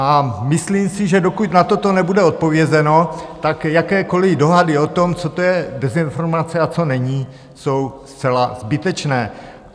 A myslím si, že dokud na toto nebude odpovězeno, tak jakékoliv dohady o tom, co to je dezinformace a co není, jsou zcela zbytečné.